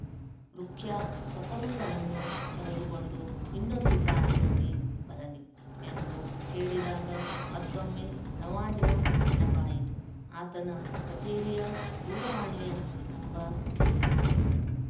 ರುಖ್ಯಾ ಸಫರುಲ್ಲನನ್ನು ಕರೆದುಕೊಂಡು ಇನ್ನೊಂದು ಕಾರಿನಲ್ಲಿ ಬರಲಿ ಎಂದು ಹೇಳಿದಾಗ ಮತ್ತೊಮ್ಮೆ ನವಾಜ್‍ನ ನೆನಪಾಯಿತು ಆತನ ಕಚೇರಿಯ ದೂರವಾಣಿಯ ನಂಬರ್ ತಿರುಗಿಸಿದನು